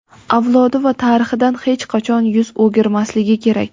avlodi va tarixidan hech qachon yuz o‘girmasligi kerak.